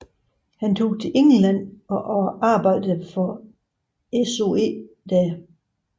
Han tog til England og arbejdede for SOE der